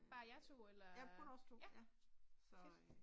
Bare jer 2 eller? Ja, fedt